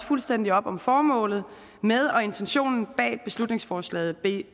fuldstændig op om formålet med og intentionen bag beslutningsforslag b